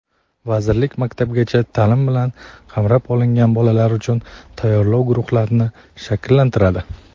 vazirlik maktabgacha taʼlim bilan qamrab olinmagan bolalar uchun tayyorlov guruhlarini shakllantiradi.